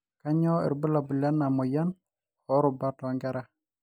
kanyio irbulabul le lena moyian oorubat too nkera